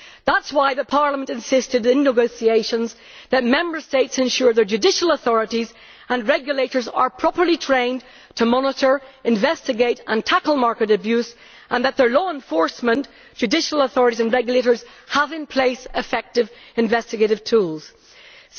That is why Parliament insisted, in the negotiations, that Member States ensure their judicial authorities and regulators are properly trained to monitor, investigate and tackle market abuse, and that their law enforcement, judicial authorities and regulators have effective investigative tools in place.